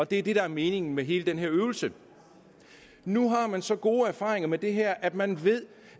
det er det der er meningen med hele den her øvelse nu har man så gode erfaringer med det her at man ved